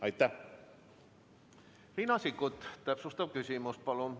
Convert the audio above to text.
Riina Sikkut, täpsustav küsimus, palun!